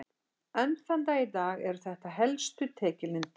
Enn þann dag í dag eru þetta helstu tekjulindir íbúanna.